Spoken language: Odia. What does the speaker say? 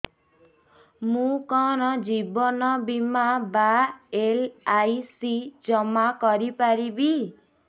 ମୁ କଣ ଜୀବନ ବୀମା ବା ଏଲ୍.ଆଇ.ସି ଜମା କରି ପାରିବି